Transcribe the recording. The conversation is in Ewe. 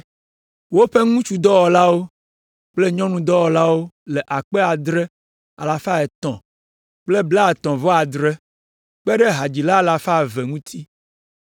Woƒe ŋutsudɔlawo kple nyɔnudɔlawo le ame akpe adre alafa etɔ̃ kple blaetɔ̃-vɔ-adre (7,337) kpe ɖe hadzila alafa eve (200) ŋuti.